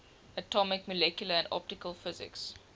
atomic molecular and optical physics